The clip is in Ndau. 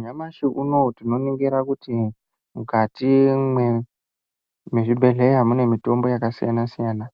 Nyamashi unowu, tinoningira kuti mukati mwezvibhedhleya, mune mitombo yakasiyana-siyana.